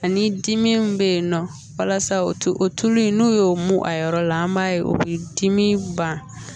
Ani dimi bɛ yen nɔ walasa o tulu in n'o y'o mun a yɔrɔ la an b'a ye o bɛ dimi ban